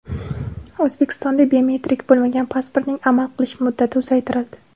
O‘zbekistonda biometrik bo‘lmagan pasportning amal qilish muddati uzaytirildi.